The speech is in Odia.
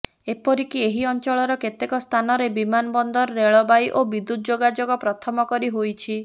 ଏପରିକି ଏହି ଅଞ୍ଚଳର କେତେକ ସ୍ଥାନରେ ବିମାନବନ୍ଦର ରେଳବାଇ ଓ ବିଦୂତ୍ ଯୋଗାଯୋଗ ପ୍ରଥମ କରି ହୋଇଛି